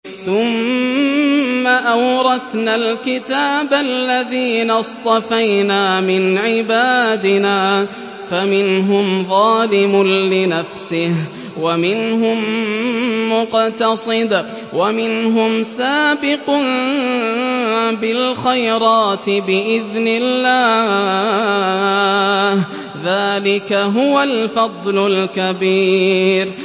ثُمَّ أَوْرَثْنَا الْكِتَابَ الَّذِينَ اصْطَفَيْنَا مِنْ عِبَادِنَا ۖ فَمِنْهُمْ ظَالِمٌ لِّنَفْسِهِ وَمِنْهُم مُّقْتَصِدٌ وَمِنْهُمْ سَابِقٌ بِالْخَيْرَاتِ بِإِذْنِ اللَّهِ ۚ ذَٰلِكَ هُوَ الْفَضْلُ الْكَبِيرُ